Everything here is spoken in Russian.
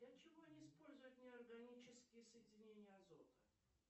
для чего не используют неорганические соединения азота